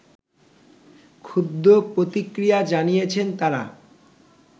ক্ষুব্দ প্রতিক্রিয়া জানিয়েছেন তারা